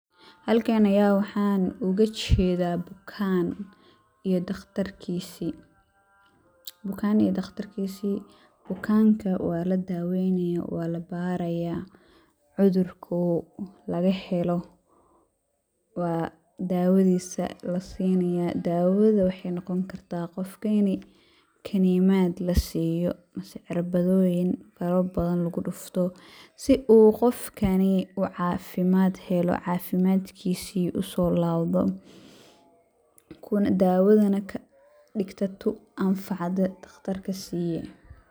Halkaan ayaan waxaan ooga jedaa bukaan ,iyo dhakhtarkisii ,bukaan iyo dhakhtarkisii, bukaanka waa la daaweynayo ,waa la barayaa ,cudurkuu laga helo waa daawadiisa la sinayaa . Daawada waxey noqon kartaa qofka ini kanimaad la siiyo mase cirabadoyin, cirbada badan lagu dhufto ,si uu qofkanii u cafimaad helo ,cafimadkisii usoo laawdo ,daawada na ka dhigta tu anfacda dhakhtarka siiye.